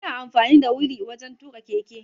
Ana amfani da wili wajan tuƙa keke